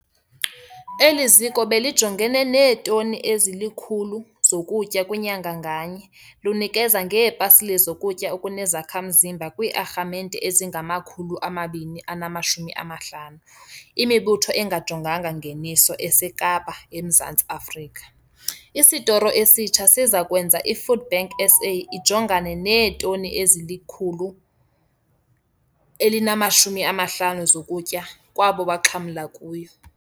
Eli ziko belijongene neetoni ezili-100 zokutya kwinyanga nganye, lunikezela ngeepasile zokutya okunezakha-mzimba kwii-arhamente ezingama-250, imibutho engajonganga ngeniso, eseKapa, eMzantsi Afrika. Isotoro esitsha siza kwenza iFoodBank SA ijongane neetoni ezili-150 zokutya kwabo baxhamlayo kuyo.